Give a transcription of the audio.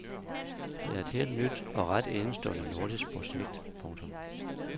Det er et helt nyt og ret enestående nordisk projekt. punktum